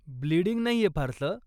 Bleeding नाहीये फारसं.